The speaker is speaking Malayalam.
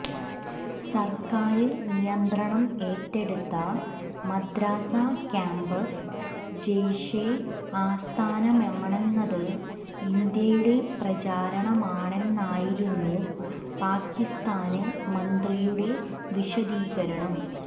സര്ക്കാര് നിയന്ത്രണം ഏറ്റെടുത്ത മദ്രസാ ക്യാമ്പസ് ജെയ്ഷെ ആസ്ഥാനമാണെന്നത് ഇന്ത്യയുടെ പ്രചരണമാണെന്നായിരുന്നു പാകിസ്താന് മന്ത്രിയുടെ വിശദീകരണം